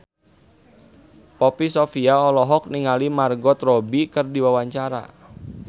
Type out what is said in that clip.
Poppy Sovia olohok ningali Margot Robbie keur diwawancara